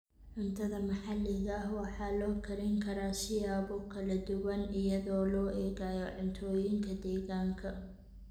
Cuntada maxaliga ah waxaa loo karin karaa siyaabo kala duwan iyadoo loo eegayo cuntooyinka deegaanka.